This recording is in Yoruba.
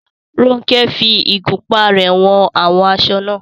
Ronke fi ìgúnpá rẹ̀ wọn àwọn aṣọ náà.